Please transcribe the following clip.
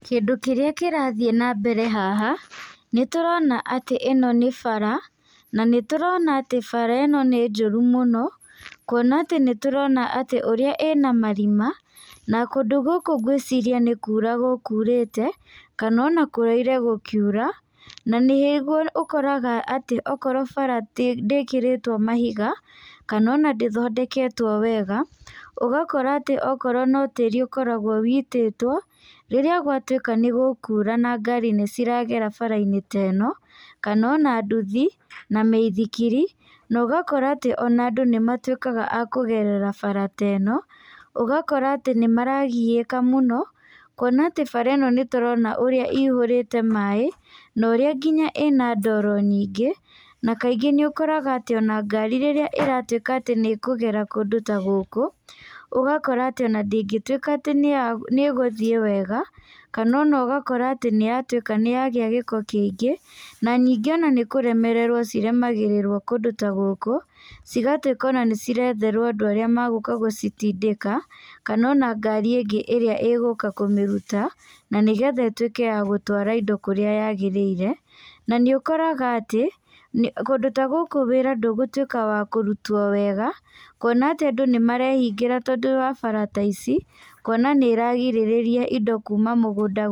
Kĩndũ kĩrĩa kĩrathiĩ na mbere haha nĩ tũrona atĩ ĩno nĩ bara, na nĩ tũrona atĩ bara ĩno nĩ njũru mũno. Kuona atĩ nĩ tũrona atĩ ũrĩa ĩna marima, na kũndũ gũkũ ngwĩciria nĩ kura gũkurĩte kana ona kũraire gũkiura. Na nĩguo ũkoraga atĩ okorwo bara ndĩkĩrĩtwo mahiga, kana ona ndĩthondeketwo wega. Ũgakora atĩ okorwo no tĩĩri ũkoragwo ũitĩtwo, rĩrĩa gwatuĩka nĩ gũkuura na ngari nĩ ciragera bara-inĩ ta ĩno, kana ona nduthi, na mĩithikiri. Na ũgakora atĩ ona andũ nĩ matuĩkaga a kũgerera bara ta ĩno, ũgakora atĩ nĩ maragiĩka mũno. Kuona atĩ bara ĩno nĩ tũrona ũrĩa ĩiyũrĩte maĩ na ũrĩa nginya ĩna ndoro nyingĩ. Na kaingĩ nĩ ũkoraga atĩ ona ngari rĩrĩa ĩratuĩka atĩ nĩ ĩkũgera kũndũ ta gũkũ, ũgakora atĩ ona ndĩngĩtuĩka atĩ nĩ ĩgũthiĩ wega, kana ona ũgakora atĩ nĩ yatuĩka atĩ nĩyagĩa gĩko kĩingĩ. Na ningĩ ona nĩ kũremererwo ciremagĩrĩrwo kũndũ ta gũkũ, cigatuĩka ona nĩ ciretherwo andũ arĩa magũka gũcitindĩka kana ona ngari ingĩ ĩrĩa ĩgũka kũmĩruta, na nĩgetha ĩtuĩke ya gũtwara indo kũrĩa yaagĩrĩire. Na nĩ ũkoraga atĩ kũndũ ta gũkũ wĩra ndũgũtuĩka wa kũrutwo wega, kuona atĩ andũ nĩ marehingĩra tondũ wa bara ta ici. Kuona nĩ iragirĩrĩria indo kuuma mũgũnda.